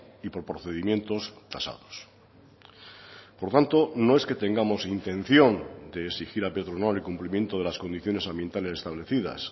y por procedimientos tasados por tanto no es que tengamos intención de exigir a petronor el cumplimiento de las condiciones ambientales establecidas